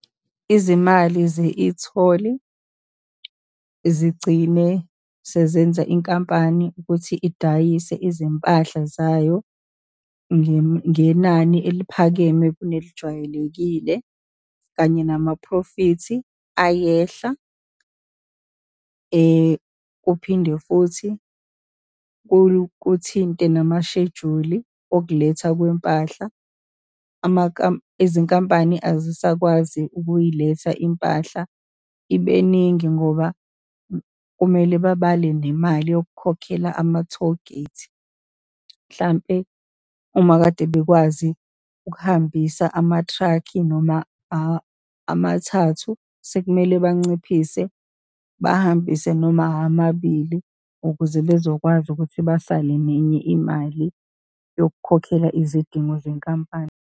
Izimali ze-etoll zigcine sezenza inkampani ukuthi idayise izimpahla zayo ngenani eliphakeme kunelijwayelekile, kanye namaphrofithi ayehla, kuphinde futhi kuthinte namashejuli okuletha kwempahla. Izinkampani azisakwazi ukuyiletha impahla ibeningi, ngoba kumele babale nemali yokukhokhela ama-tollgate. Mhlampe uma kade bekwazi ukuhambisa amathrakhi, noma amathathu, sekumele banciphise, bahambise noma amabili ukuze bezokwazi ukuthi basale nenye imali yokukhokhela izidingo zenkampani.